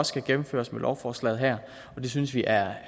skal gennemføres med lovforslaget her det synes vi er